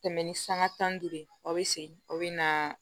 Tɛmɛn ni sanga tan ni duuru ye aw bɛ segin aw bɛ na